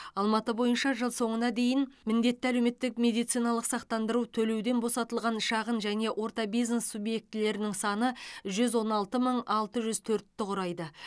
алматы бойынша жыл соңына дейін міндетті әлеуметтік медициналық сақтандыру төлеуден босатылған шағын және орта бизнес субъектілерінің саны жүз он алты мың алты жүз төртті құрайды